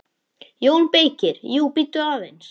JÓN BEYKIR: Jú, bíddu aðeins!